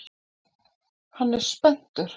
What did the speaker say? Hann er spenntur.